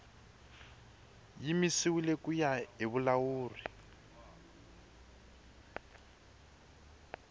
yimisiwile ku ya hi vulawuri